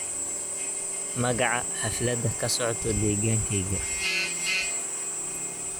magaca xaflada ka socota deegaankayga